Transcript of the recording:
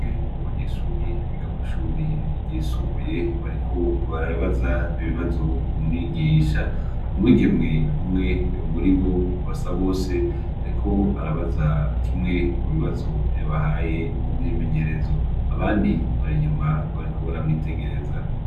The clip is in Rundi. UM2 mu banyeshuri bigako ishuri ryisumbuye bariko bararabaza ibibazo umwigisha mu mwigemwe umwe o muri bo vasa bose, ariko arabaza kimwe mu bibazo vyabahaye mumwimenyerezo abandi bara inyuma bariko baramwitegereza.